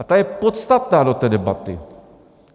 A ta je podstatná do té debaty.